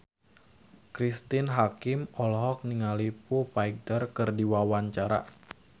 Cristine Hakim olohok ningali Foo Fighter keur diwawancara